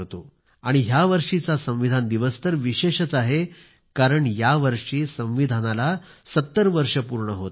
आणि ह्या वर्षीचा संविधान दिवस विशेष आहे कारण यावर्षी संविधानाला 70 वर्ष पूर्ण होत आहेत